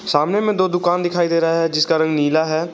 सामने में दो दुकान दिखाई दे रहा है जिसका रंग नीला है।